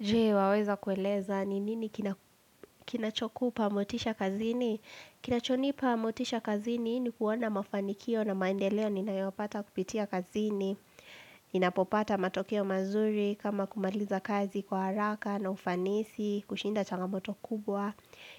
Je waweza kueleza ni nini kinachokupa motisha kazini? Kinachonipa motisha kazini ni kuona mafanikio na maendeleo ninayopata kupitia kazini. Ninapopata matokeo mazuri kama kumaliza kazi kwa haraka na ufanisi kushinda changamoto kubwa.